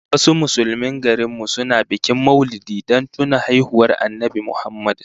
Wasu Musulmin garin mu suna bikin Maulidi don tuna haihuwar Annabi Muhammad